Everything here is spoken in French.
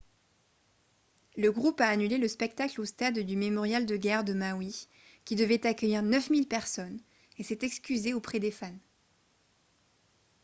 le groupe a annulé le spectacle au stade du mémorial de guerre de maui qui devait accueillir 9 000 personnes et s’est excusé auprès des fans